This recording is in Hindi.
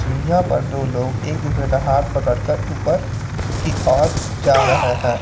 सीढ़ियां पर दो लोग एक दूसरे का हाथ पकड़ कर ऊपर की ओर जा रहे हैं।